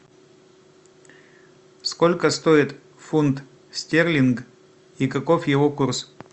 сколько стоит фунт стерлинг и каков его курс